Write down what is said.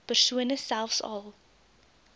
persone selfs al